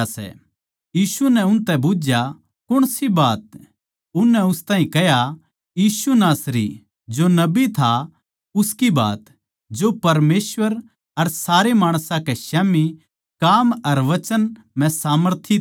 यीशु नै उनतै बुझया कौण सी बात उननै उस ताहीं कह्या यीशु नासरी जो नासरत तै था उसके बारे म्ह जो परमेसवर अर सारे माणसां कै धोरै काम अर वचन म्ह सामर्थी नबी था